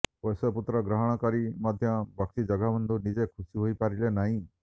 ପୋଷ୍ୟ ପୁତ୍ର ଗ୍ରହଣ କରି ମଧ୍ୟ ବକ୍ସି ଜଗବନ୍ଧୁ ନିଜେ ଖୁସି ହୋଇପାରିଲେ ନାହିଁ